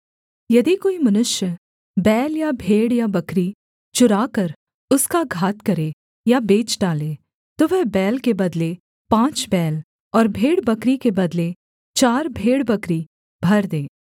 यदि कोई मनुष्य बैल या भेड़ या बकरी चुराकर उसका घात करे या बेच डाले तो वह बैल के बदले पाँच बैल और भेड़बकरी के बदले चार भेड़बकरी भर दे